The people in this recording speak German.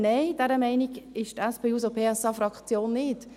Nein, dieser Meinung ist die SP-JUSO-PSA-Fraktion nicht.